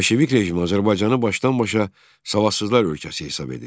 Bolşevik rejimi Azərbaycanı başdan-başa savadsızlar ölkəsi hesab edir.